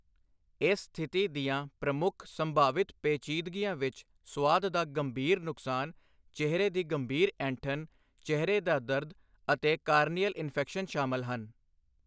ਇਸ ਸਥਿਤੀ ਦੀਆਂ ਪ੍ਰਮੁੱਖ ਸੰਭਾਵਿਤ ਪੇਚੀਦਗੀਆਂ ਵਿੱਚ ਸੁਆਦ ਦਾ ਗੰਭੀਰ ਨੁਕਸਾਨ, ਚਿਹਰੇ ਦੀ ਗੰਭੀਰ ਐਂਠਨ, ਚਿਹਰੇ ਦਾ ਦਰਦ ਅਤੇ ਕਾਰਨੀਅਲ ਇਨਫੈਕਸ਼ਨ ਸ਼ਾਮਲ ਹਨ।